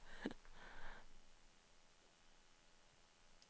Det bele solé gladde, kom brurferdé.